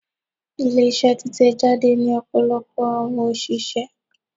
Ile-iṣẹ titẹjade ni ọpọlọpọ awọn oṣiṣẹ